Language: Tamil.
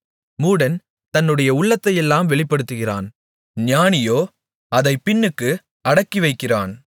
மூடன் தன்னுடைய உள்ளத்தையெல்லாம் வெளிப்படுத்துகிறான் ஞானியோ அதைப் பின்னுக்கு அடக்கிவைக்கிறான்